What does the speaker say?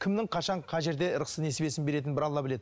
кімнің қашан қай жерде ырыс несібесін беретінін бір алла біледі